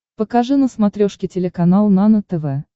покажи на смотрешке телеканал нано тв